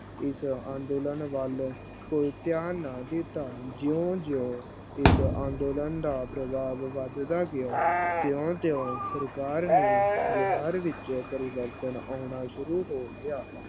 ਉਸ ਅੰਦੋਲਨ ਵੱਲ ਕੋਈ ਧਿਆਨ ਨਾ ਦਿਤਾ L ਜੀਓ-ਜੀਓ ਉਸ ਅੰਦੋਲਨ ਦਾ ਪ੍ਰਭਾਵ ਵਦਦਾ ਗਿਆ। ਤਿਓ-ਤਿਓ ਸਰਕਾਰ ਨੇ ਵਿਹਾਰ ਵਿੱਚ ਪਰਿਵਰਤਨ ਆਉਣਾ ਸ਼ੁਰੂ ਹੋ ਗਿਆ L